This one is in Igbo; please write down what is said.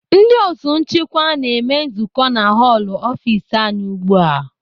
Ndị otu nchịkwa na-eme nzukọ na họlụ ọfis anyị ugbu a.